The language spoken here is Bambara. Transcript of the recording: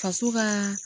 Faso kaa